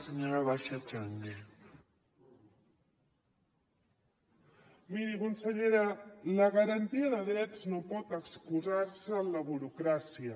miri consellera la garantia de drets no pot excusar se en la burocràcia